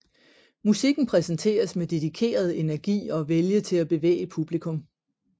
Musikken præsenteres med dedikeret energi og vilje til at bevæge publikum